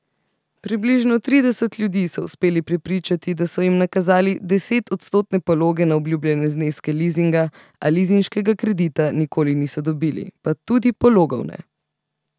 Približno trideset ljudi so uspeli prepričati, da so jim nakazali desetodstotne pologe na obljubljene zneske lizinga, a lizinškega kredita nikoli niso dobili, pa tudi pologov ne.